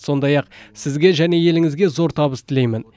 сондай ақ сізге және еліңізге зор табыс тілеймін